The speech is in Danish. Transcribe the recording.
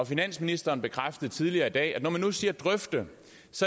finansministeren bekræftede tidligere i dag at når man nu siger drøfte